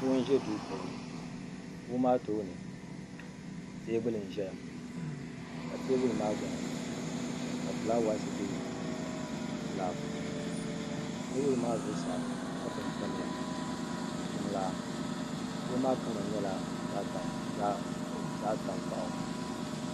kuɣu n ʒɛ duu puuni kuɣu maa tooni teebuli nim ʒɛya ka teebuli maa gbuni ka fulaawaasi bɛ laa puuni teebuli maa zuɣusaa kapu n tamya ni jiŋlaa dikpuni maa kama nyɛla zaɣ tankpaɣu